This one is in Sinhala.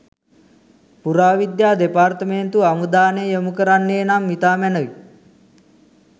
පුරාවිද්‍යා දෙපාර්තමේන්තුව අවධානය යොමු කරන්නේ නම් ඉතා මැනැවි.